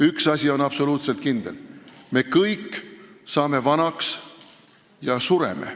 Üks absoluutselt kindel asi on see, et me kõik saame vanaks ja sureme.